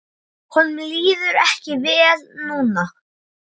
Honum líður ekki vel núna.